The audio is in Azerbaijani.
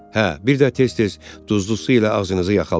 Hə, bir də tez-tez duzlu su ilə ağzınızı yaxalayın.